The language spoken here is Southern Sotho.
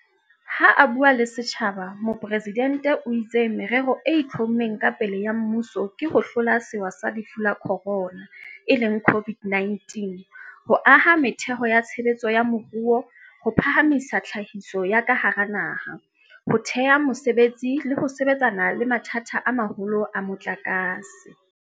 Ha a bua le setjhaba, Mopresidente o itse merero e itlhommeng ka pele ya mmuso ke ho hlola sewa sa Lefu la Khorona, e leng COVID-19, ho aha metheo ya tshebetso ya moruo, ho phahamisa tlhahiso ya ka hara naha, ho thea mesebetsi le ho sebetsana le mathata a maholo a motlakase.